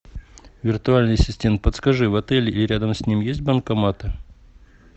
виртуальный ассистент подскажи в отеле и рядом с ним есть банкомат